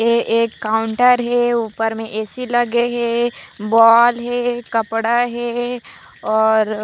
ये एक काउंटर हे ऊपर में ऐ सी लगे हे बॉल हे कपड़ा हे और